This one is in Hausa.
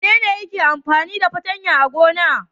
Wane ne yake amfani da fatanya a gona?